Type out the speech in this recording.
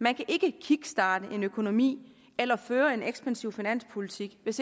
man kan ikke kickstarte en økonomi eller føre en ekspansiv finanspolitik hvis